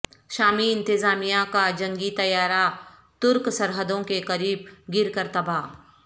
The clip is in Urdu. شامی انتظامیہ کا جنگی طیارہ ترک سرحدوں کے قریب گر کر تباہ